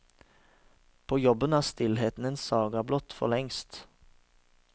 På jobben er stillheten en saga blott forlengst.